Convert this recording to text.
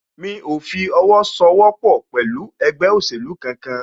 Mí o fi owó sọ wọ́pọ̀ pẹ̀lú ẹgbẹ́ òsèlú kan kan